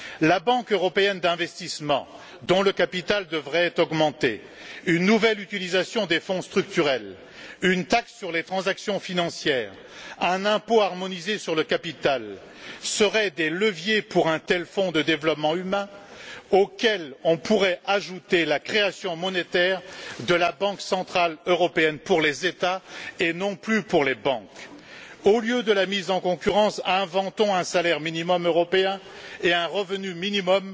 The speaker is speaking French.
La Banque européenne d'investissement, dont le capital devrait être augmenté, une nouvelle utilisation des Fonds structurels, une taxe sur les transactions financières, un impôt harmonisé sur le capital seraient des leviers pour un tel fonds de développement humain, auquel on pourrait ajouter la création monétaire de la Banque centrale européenne pour les États et non plus pour les banques. Au lieu de la mise en concurrence, inventons un salaire minimum européen et un revenu minimum,